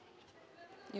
jú